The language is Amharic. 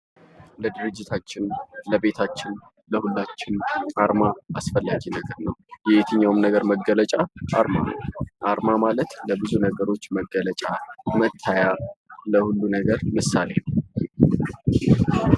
ለድርጅታችን ለቤታችን ለሁሉም አርማ አስፈላጊ ነገር ነው የትኛውም ነገር መገለጫ አርማ አርማ ማለት ለብዙ ነገሮች መገለጫ መታያ ለሁሉ ነገር ምሳሌ ነው።